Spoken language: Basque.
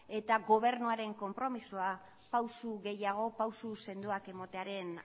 eta gobernuaren konpromezua pausu gehiago pausu sendoak ematearen